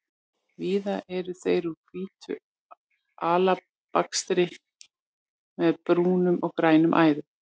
Víða eru þeir úr hvítu alabastri með brúnum og gulum æðum.